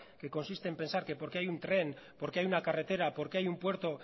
que consiste en pensar que porque hay un tren porque hay una carretera porque hay un puerto